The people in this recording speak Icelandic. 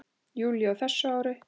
júlí á þessu ári.